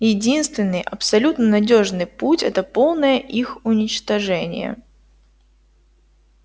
единственный абсолютно надёжный путь это полное их уничтожение